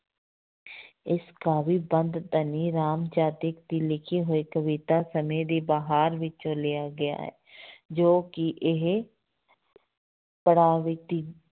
ਇਸ ਕਾਵਿ ਬੰਧ ਧਨੀ ਰਾਮ ਚਾਤ੍ਰਿਕ ਦੀ ਲਿਖੀ ਹੋਈ ਕਵਿਤਾ ਸਮੇਂ ਦੀ ਬਹਾਰ ਵਿੱਚੋਂ ਲਿਆ ਗਿਆ ਹੈ ਜੋ ਕਿ ਇਹ ਪੜ੍ਹਾਅ ਵਿੱਚ